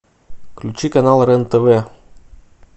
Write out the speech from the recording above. включи канал рен тв